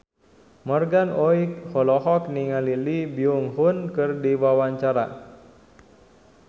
Morgan Oey olohok ningali Lee Byung Hun keur diwawancara